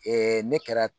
ne kɛra